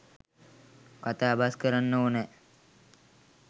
කතා බස්‌ කරන්න ඕනෑ.